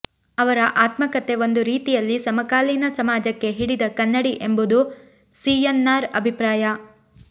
ಅವರ ಆತ್ಮ ಕಥೆ ಒಂದು ರೀತಿಯಲ್ಲಿ ಸಮಕಾಲೀನ ಸಮಾಜಕ್ಕೆ ಹಿಡಿದ ಕನ್ನಡಿ ಎಂಬುದು ಸಿಎನ್ನಾರ್ ಅಭಿಪ್ರಾಯ